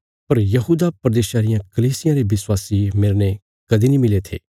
पर यहूदा प्रदेशा रियां कलीसियां रे विश्वासी मेरने कदीं नीं मिले थे